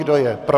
Kdo je pro?